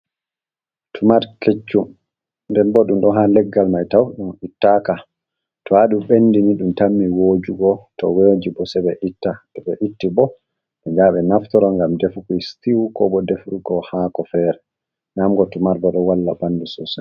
Tumat keccu denbo ɗum ɗo haa leggal mai tau ɗum ittaka. To haa ɗuɓ ɓendi ni ɗum tammi wojugo, to woji bo sai ɓe itti, to ɓe itti bo ɓeya ɓe naftoro ngam defu sitew ko bo defurgo hako fere. Nyamugo tumar bo ɗo walla ɓandu sosai.